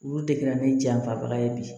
Olu de kɛra ni janfabaga ye bi